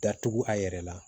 Datugu a yɛrɛ la